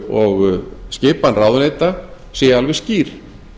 og skipan ráðuneyta sé alveg skýr